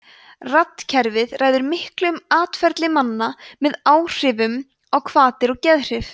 randkerfið ræður miklu um atferli manna með áhrifum á hvatir og geðhrif